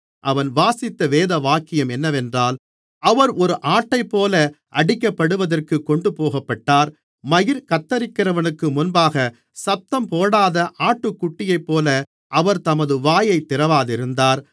அவன் வாசித்த வேதவாக்கியம் என்னவென்றால் அவர் ஒரு ஆட்டைப்போல அடிக்கப்படுவதற்குக் கொண்டுபோகப்பட்டார் மயிர் கத்தரிக்கிறவனுக்கு முன்பாகச் சத்தம்போடாத ஆட்டுக்குட்டியைப்போல அவர் தமது வாயைத் திறவாதிருந்தார்